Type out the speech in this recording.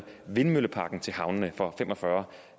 vindmølleparken til havnene for fem og fyrre